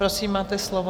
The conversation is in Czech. Prosím, máte slovo.